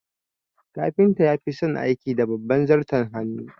Kafinta ya fison aiki da babbar zarton hannu